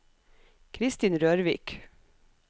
Kristin Rørvik